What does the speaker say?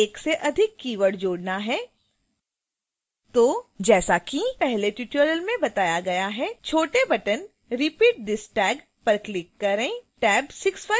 यदि एक से अधिक keyword जोड़ना है तो जैसा कि पहले के ट्यूटोरियल में बताया गया है छोटे बटन repeat this tag पर क्लिक करें